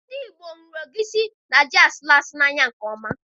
Ndị ìgbo hụrụ egwusi na ji asụru asụ n'anya nke ọma